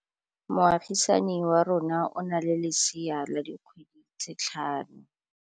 Moagisane wa rona o na le lesea la dikgwedi tse tlhano.